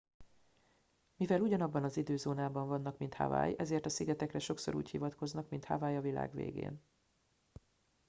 "mivel ugyanabban az időzónában vannak mint hawaii ezért a szigetekre sokszor úgy hivatkoznak mint "hawaii a világ végén"".